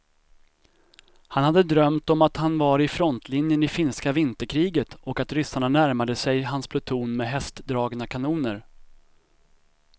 Han hade drömt om att han var i frontlinjen i finska vinterkriget och att ryssarna närmade sig hans pluton med hästdragna kanoner.